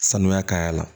Sanuya ka y'a la